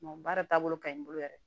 baara taabolo ka ɲi bolo yɛrɛ